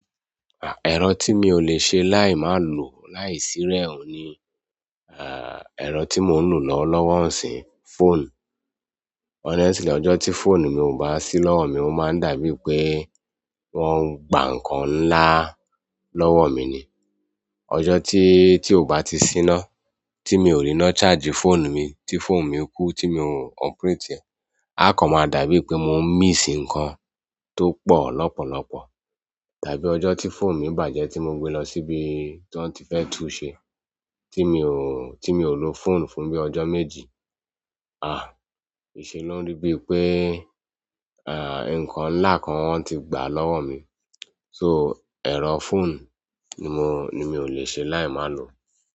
Ah, ẹ̀rọ tí mi ò lè ṣe láì má lò láì sí rẹ̀ òun ni ah, ẹ̀rọ tí mò ń lò lọ́wọ́ lọ́wọ̀ nsín, fóònù. Honestly, ọjọ́ tí phone mi ò bá sí lọ́wọ́ mi, ó máa ń dàbí pé wọ́n ń gba nǹkan ńlá lọ́wọ́ mi ni. Ọjọ́ tí, tí ò bá ti ṣíná, tí mi ò rí iná charge fóònù mi, tí fóònù mi kú, tí mi ò operate rẹ̀, a kan máa dàbí pé mò ń miss nǹkan tó pọ̀ lọ́pọ̀lọpọ̀. Àbí ọjọ ti fóònù mi bàjẹ́ ti mo gbe lọwọ ibi ti wọn ti fẹ tunse ti mi o lo fóònù fún bi ọjọ méjì a se lórí bi i pe nǹkan ńlá kan wọn ti gba lọwọ mi so, ẹ̀rọ phone ni mo, ni mi ò le ṣe láì má lò.